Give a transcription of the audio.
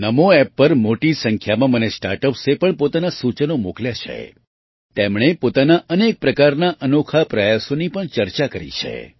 નામો Appપર મોટી સંખ્યામાં મને સ્ટાર્ટ અપ્સે પણ પોતાનાં સૂચનો મોકલ્યાં છે તેમણે પોતાના અનેક પ્રકારના અનોખા પ્રયાસોની પણ ચર્ચા કરી છે